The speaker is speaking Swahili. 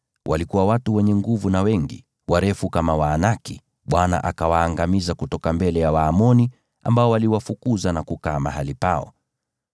Walikuwa watu wenye nguvu na wengi, warefu kama Waanaki. Bwana akawaangamiza kutoka mbele ya Waamoni, ambao waliwafukuza na kukaa mahali pao.